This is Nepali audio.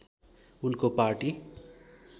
उनको पार्टी